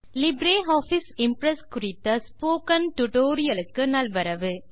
LibreOffice Impress குறித்த spoken tutorial க்கு நல்வரவு